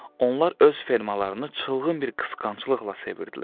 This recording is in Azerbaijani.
Onlar öz fermalarını çılğın bir qısqanclıqla sevirdilər.